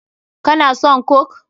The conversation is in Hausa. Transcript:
Ka na son coke?